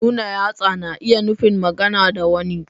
Nuna yatsa na iya nufin magana da wani.